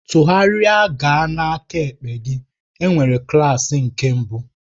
Tụgharịa gaa n'aka ekpe gị, enwere klaasị nke mbụ.